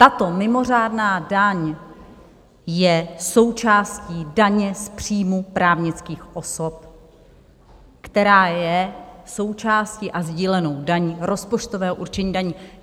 Tato mimořádná daň je součástí daně z příjmů právnických osob, která je součástí a sdílenou daní rozpočtového určení daní.